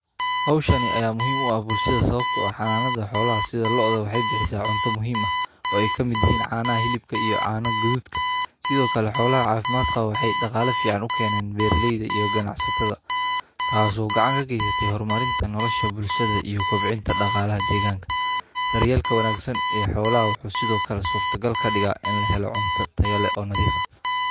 Hawshani ayaa muhiim u ah bulshada sababtoo ah xanaanada xoolaha sida lo'da waxay bixisa cunto muhiima oo ay ka mid yihiin caana hilibka iyo caano gadudka. Sidoo kale, xoolaha caafimaadka waxay dhaqaale fiican u keenaan beerleyda iyo ganacsatada. Taasoo gacanka ka haysatay hormarinta, nolosha bulshada iyo qabciinta dhaqaale ah degaanka, daryeelka wanaagsan ee xoolaha wuxuu sidoo kale suurtagalka dhiga in la helo cunto tayole oo nadiifa.